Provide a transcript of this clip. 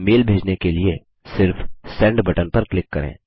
अब मेल भेजने के लिए सिर्फ़ सेंड बटन पर क्लिक करें